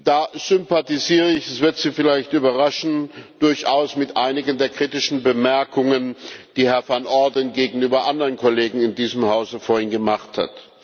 Da sympathisiere ich es wird Sie vielleicht überraschen durchaus mit einigen der kritischen Bemerkungen, die Herr Van Orden vorhin gegenüber anderen Kollegen in diesem Hause gemacht hat.